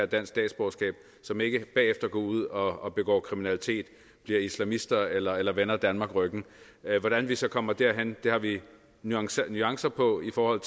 dansk statsborgerskab så man ikke bagefter går ud og begår kriminalitet bliver islamister eller eller vender danmark ryggen hvordan vi så kommer derhen har vi nuancer nuancer på i forhold